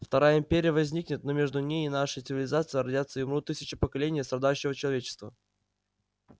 вторая империя возникнет но между ней и нашей цивилизацией родятся и умрут тысячи поколений страдающего человечества